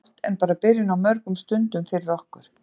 Það er gott en bara byrjun á mörgum stundum fyrir okkur.